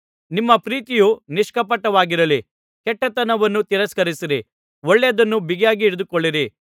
ನಿಮ್ಮ ಪ್ರೀತಿಯು ನಿಷ್ಕಪಟವಾಗಿರಲಿ ಕೆಟ್ಟತನವನ್ನು ತಿರಸ್ಕರಿಸಿರಿ ಒಳ್ಳೆಯದನ್ನು ಬಿಗಿಯಾಗಿ ಹಿಡಿದುಕೊಳ್ಳಿರಿ